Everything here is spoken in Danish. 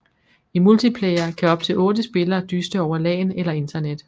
I multiplayer kan op til otte spillere dyste over LAN eller Internet